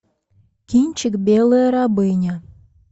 кинчик белая рабыня